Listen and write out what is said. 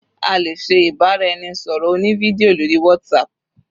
A lè ṣe ìbáraẹnisọ̀rọ̀ oní fídíò lórí WhatsApp.